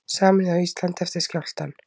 Sameinuð á Íslandi eftir skjálftann